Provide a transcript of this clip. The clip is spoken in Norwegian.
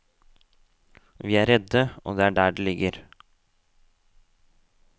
Vi er redde, og det er der det ligger.